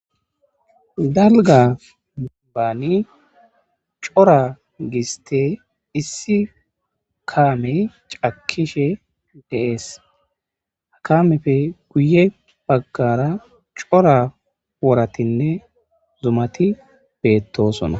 Dalgga dembban corra gisste issi kaamey cakishshe de'ssi ha kaameppe guye baggara corra worattine zumati bettossona.